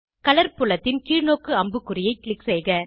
colour புலத்தின் கீழ்நோக்கு அம்புக்குறியை க்ளிக் செய்க